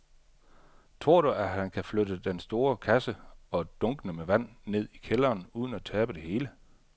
Tror du, at han kan flytte den store kasse og dunkene med vand ned i kælderen uden at tabe det hele?